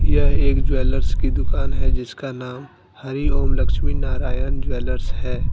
यह एक ज्वेलर्स की दुकान है। जिसका नाम हरी ओम लक्ष्मी नारायण ज्वेलर्स है।